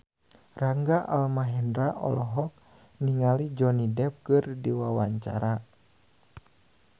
Rangga Almahendra olohok ningali Johnny Depp keur diwawancara